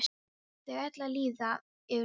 Það ætlaði að líða yfir mig.